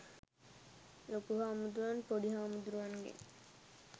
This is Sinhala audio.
ලොකු හාමුදුරුවන් පොඩි හාමුදුරුවන්ගෙන්